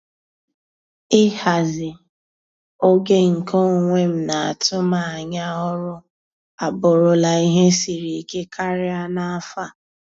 Ịhazi oge nke onwe m na atụmanya ọrụ abụrụla ihe siri ike karịa n'afọ a.